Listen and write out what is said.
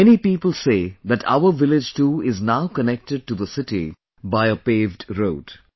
Many people say that our village too is now connected to the city by a paved road